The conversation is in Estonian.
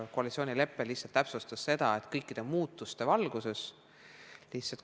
Koalitsioonilepe lihtsalt täpsustas seda.